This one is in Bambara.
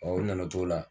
u nana o t'o la